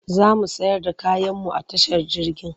Za mu sayar da kayanmu a tashar jirgin.